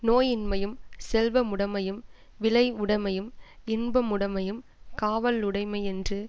நோயின்மையும் செல்வமுடமையும் விளைவுடமையும் இன்பமுடமையும் காவலுடைமையுமென்று